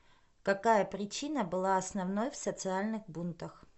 какая причина была основной в социальных бунтах